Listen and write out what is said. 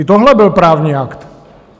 I tohle byl právní akt!